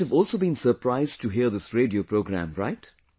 You must have also been surprised to hear this radio program, right